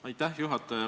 Aitäh, juhataja!